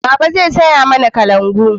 Baba zai saya mana kalangu